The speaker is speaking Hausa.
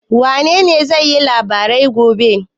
Wanene zai yi labarai gobe?